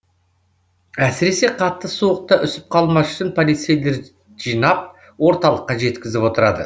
әсіресе қатты суықта үсіп қалмас үшін полицейлер жинап орталыққа жеткізіп отырады